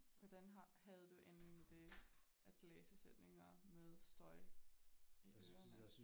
Hvordan har havde du egentlig med det at læse sætninger med støj i ørerne